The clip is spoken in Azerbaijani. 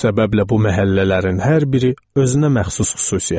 Bu səbəblə bu məhəllələrin hər biri özünə məxsus xüsusiyyətdədir.